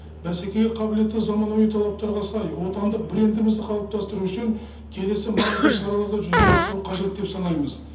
бәсекеге қабілетті заманауи талаптарға сай отандық брендімізді қалыптастыру үшін келесі маңызды шараларды жүзеге асыру қажет деп санаймыз